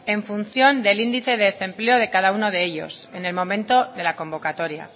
en función del índice de desempleo de cada uno de ellos en el momento de la convocatoria